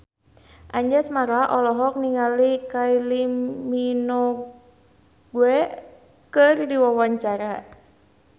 Anjasmara olohok ningali Kylie Minogue keur diwawancara